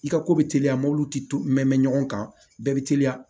I ka ko bɛ teliya mɔbilitigi mɛn mɛn ɲɔgɔn kan bɛɛ bɛ teliya